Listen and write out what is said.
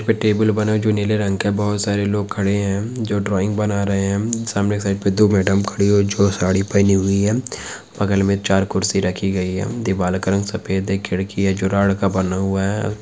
पे टेबल बना है जो नीले रंग का है बहोत सारे लोग खड़े है जो ड्रॉइंग बना रहे है सामने के साइड पे दो मेडम खड़ी हुई है जो साड़ी पहनी हुई है बगल में चार कुर्सी रखी गयी है दीवाल का रंग सफ़ेद है खिड़की है जो रॉड का बना हुआ हैं।